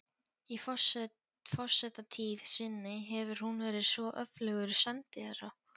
Í forsetatíð sinni hefur hún verið svo öflugur sendiherra